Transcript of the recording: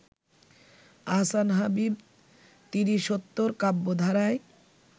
আহসান হাবীব তিরিশোত্তর কাব্যধারায়